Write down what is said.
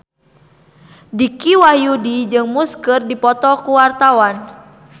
Dicky Wahyudi jeung Muse keur dipoto ku wartawan